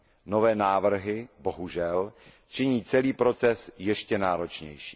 Nové návrhy, bohužel, činí celý proces ještě náročnějším.